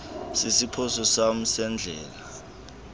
sesiphoso sam sendlela